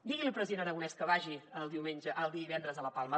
digui li al president aragonès que vagi el divendres a la palma